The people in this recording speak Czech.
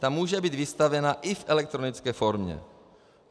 Ta může být vystavena i v elektronické formě.